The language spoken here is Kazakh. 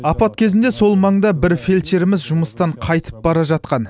апат кезінде сол маңда бір фельдшеріміз жұмыстан қайтып бара жатқан